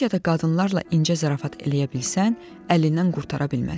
Rusiyada qadınlarla incə zarafat eləyə bilsən, əlindən qurtara bilməz.